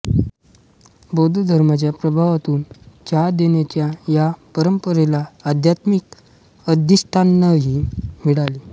बौद्ध धर्माच्या प्रभावातून चहा देण्याच्या या परंपरेला आध्यात्मिक अधिष्ठानही मिळाले